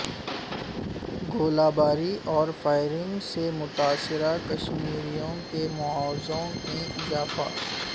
گولہ باری اور فائرنگ سے متاثرہ کشمیریوں کے معاوضوں میں اضافہ